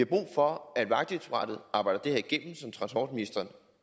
brug for at vejdirektoratet arbejder det her igennem som transportministeren